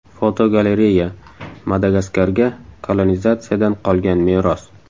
Fotogalereya: Madagaskarga kolonizatsiyadan qolgan meros.